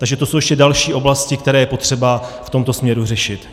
Takže to jsou ještě další oblasti, které je potřeba v tomto směru řešit.